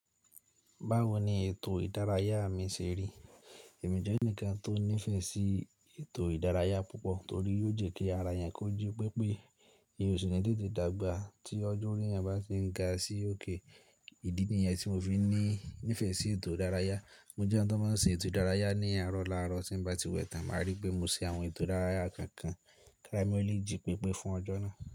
Báwo ni ètò ìdárayá mi ṣe rí? Ẹ̀mí jẹ́ ẹnìkan tó nífẹ̀ẹ́ sí ètò ìdárayá púpọ̀ torí yóò jẹ́ kí ara eyan kóji pé pé eeyan o si ni tètè dàgbà tí ọjọ́ orí ẹyan bá ti ń ga sí òkè. Ìdí nìyẹn tí mo fi ní ìfẹ́ sí ètò ìdárayá. Mo jẹ́ ẹni tó máa ń sin ètò ìdárayá ní àárọ̀ lárọ̀, tí bá ti wẹ̀ tán, màá rí pé mo ṣe àwọn ètò ìdárayá kànkàn kí ara mi lè jí pépé fún ọjọ́ náà.